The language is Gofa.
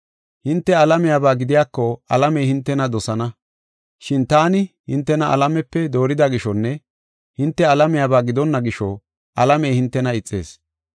Hinte alamiyaba gidiyako alamey hintena dosana. Shin taani hintena alamepe doorida gishonne hinte alamiyaba gidonna gisho alamey hintena ixees.